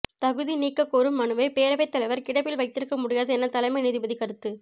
தகுதி நீக்க கோரும் மனுவை பேரவைத் தலைவர் கிடப்பில் வைத்திருக்க முடியாது என தலைமை நீதிபதி கருத்து